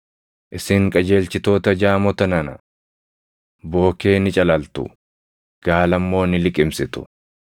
Isin qajeelchitoota jaamota nana! Bookee ni calaltu; gaala immoo ni liqimsitu.